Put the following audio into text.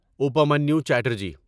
Upamanyu Chatterjee